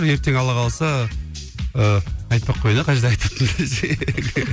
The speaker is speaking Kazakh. ертең алла қаласа ыыы айтпай ақ қояйын иә қай жерде айтатынымды десең